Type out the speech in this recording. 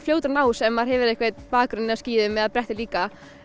fljótur að ná þessu ef maður hefur einhver bakgrunn á skíðum eða bretti líka